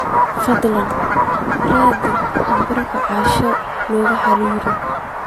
fadhlan raadi nambarka ee asha laga xiriiro